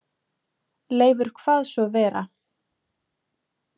Leifur kvað svo vera.